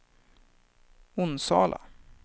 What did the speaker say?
Onsala